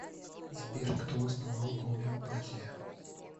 сбер кто основал гомеопатия